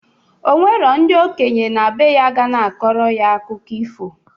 O nwero ndị okenye na bee ya ga na-akọrọ ya akụkọ ifo